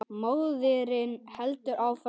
Móðirin heldur áfram.